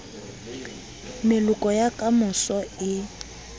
meloko ya ka moso e